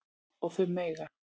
Og þau mega